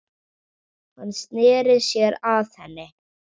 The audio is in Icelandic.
Hann sneri sér að henni.